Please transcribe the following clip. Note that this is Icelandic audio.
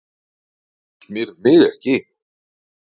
Þú smyrð mig ekki.